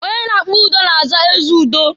Onye na-akpa udo na-aza ezeudo.